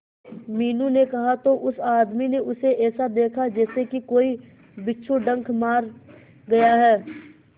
मीनू ने कहा तो उस आदमी ने उसे ऐसा देखा जैसे कि कोई बिच्छू डंक मार गया है